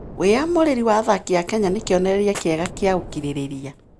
Wĩyamũrĩri wa athaki a Kenya nĩ kĩonereria kĩega kĩa ũkirĩrĩria.